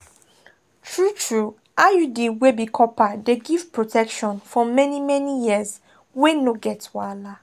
true-true iud wey be copper dey give protection for many-many years wey no get wahala.